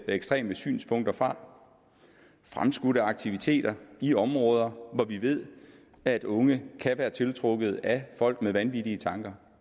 ekstreme synspunkter fra og fremskudte aktiviteter i områder hvor vi ved at unge kan være tiltrukket af folk med vanvittige tanker